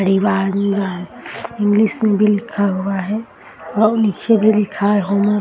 English में भी लिखा हुआ है और नीचे भी लिखा है होमिओ --